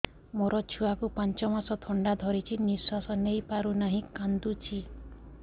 ମୋ ଛୁଆକୁ ପାଞ୍ଚ ମାସ ଥଣ୍ଡା ଧରିଛି ନିଶ୍ୱାସ ନେଇ ପାରୁ ନାହିଁ କାଂଦୁଛି